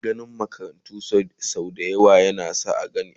Ginin makarantu sau dayawa ya kan zauna ne a kan babban fili